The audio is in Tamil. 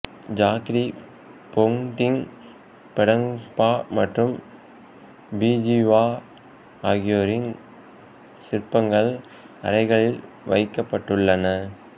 ஜாக்ரி போங்திங் பெடங்பா மற்றும் பிஜுவா ஆகியோரின் சிற்பங்கள் அறைகளில் வைக்கப்பட்டுள்ளன